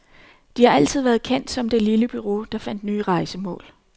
De har altid været kendt som de lille bureau, der fandt nye rejsemål.